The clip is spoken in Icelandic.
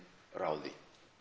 ráði